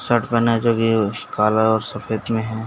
Shirt पेहना जो भी हो काला और सफ़ेद मे है।